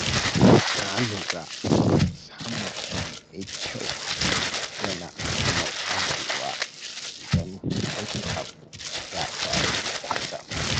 Na lura cewa samun shiri mai kyau yana hana ruɗewa idan wani abu ya faru kwatsam.